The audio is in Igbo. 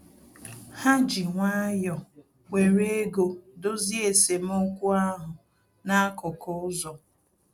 Ha ji nwayọ were ego dozie esemokwu ahụ n'akụkụ ụzọ